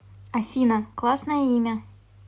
афина классное имя